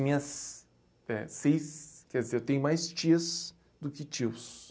Minhas... É seis ... Quer dizer, eu tenho mais tias do que tios.